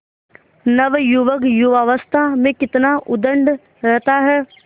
नवयुवक युवावस्था में कितना उद्दंड रहता है